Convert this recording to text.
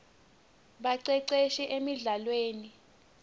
baceceshi emldlalweni